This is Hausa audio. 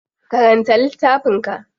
Karanta littafin ka.